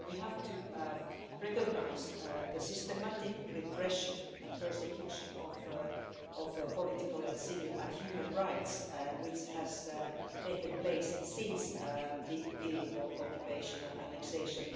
So we have to recognise the systematic repression and persecution of political, civil and human rights which have taken place since the illegal occupation and annexation.